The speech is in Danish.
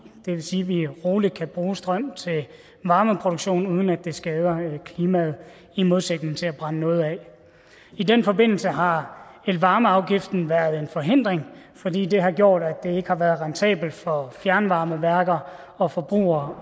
det vil sige at vi roligt kan bruge strøm til varmeproduktion uden at det skader klimaet i modsætning til at brænde noget af i den forbindelse har elvarmeafgiften været en forhindring fordi den har gjort at det ikke har været rentabelt for fjernvarmeværker og forbrugere